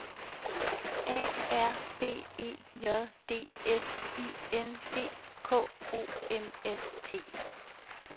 A R B E J D S I N D K O M S T